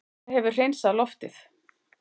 En þetta hefur hreinsað loftið